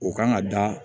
O kan ka da